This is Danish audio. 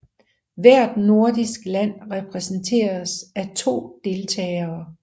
Hvert nordisk land repræsenteres af to deltagere